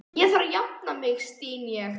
Ég þarf að jafna mig, styn ég.